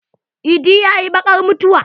Idi ya yi bakar mutuwa.